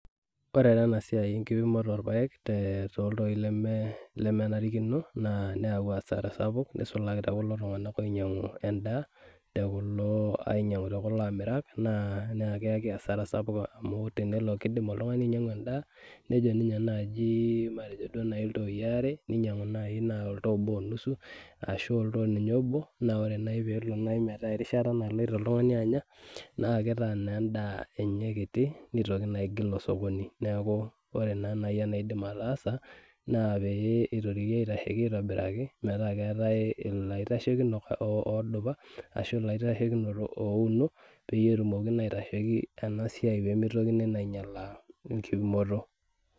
Ore tenasiai enkipimoto orpaek toltoi lemenarikino naa neyaua asara sapuk nisulaki tekulo tung'anak oinyang'u endaa, tekulo ainyang'u tekulo amirak naa na keeki asara sapuk amu keku tenelo kidim oltung'ani ainyang'u endaa, nejo ninye naji matejo duo nai iltooi are, ninyang'u nai na oltoo obo onusu, ashu oltoo ninye obo, na ore nai pelo nai metaa erishata naloito oltung'ani anya, na kitaa naa endaa enye kiti, nitoki naa aigil osokoni. Neeku ore naa nai enaidim ataasa, naa pee itorioki aitasheki aitobiraki metaa keetae ilaitashekino odupa, ashu ilaitashekinok ouno, petumoki naa aitasheki pemitokini naa ainyalaa enkipimoto.